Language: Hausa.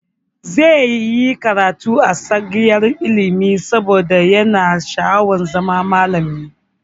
Zai yi karatu a tsangayar ilimi saboda yana sha'awar zama malami.